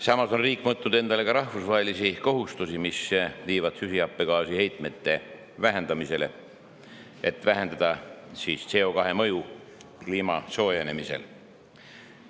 Samas on riik endale võtnud ka rahvusvahelisi kohustusi, mis viivad süsihappegaasi heitkoguste vähendamiseni, et vähendada CO2 mõju kliima soojenemisele.